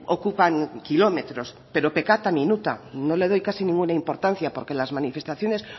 ocupan kilómetros pero pecata minuta no le doy casi ninguna importancia porque las manifestaciones